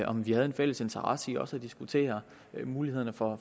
om vi har en fælles interesse i også at diskutere mulighederne for